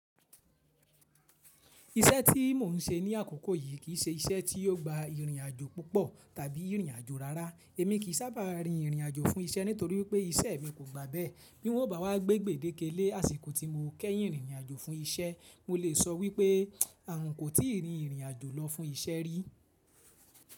Iṣẹ́ tí mò ń ṣe ní àkókò yìí kì í ṣe iṣẹ́ tí yóò gba ìrìnàjò púpọ̀ tàbí ìrìnàjò rárá. Èmi kì í sábà rin ìrìnàjò fún iṣẹ́ nítorí wipé iṣẹ́ mi kò gba bẹ́ẹ̀. Bí n o bá wá gbé gbéde lé àsìkò tí mo kẹ́yìn rin ìrìnàjò fún iṣẹ́, mo lè sọ wípé àwọn n kò tí ì rin ìrìnàjò lọ fún iṣẹ́ rí.